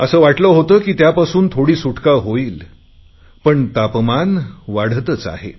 असे वाटले होते की त्यापासून थोडी सुटका होईल पण तापमान वाढतच आहे